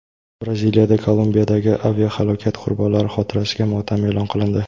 Braziliyada Kolumbiyadagi aviahalokat qurbonlari xotirasiga motam e’lon qilindi.